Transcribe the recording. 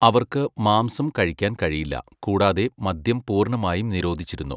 അവർക്ക് മാംസം കഴിക്കാൻ കഴിയില്ല കൂടാതെ മദ്യം പൂർണ്ണമായും നിരോധിച്ചിരിന്നു.